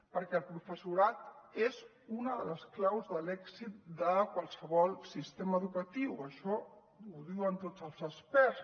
perquè el professorat és una de les claus de l’èxit de qualsevol sistema educatiu això ho diuen tots els experts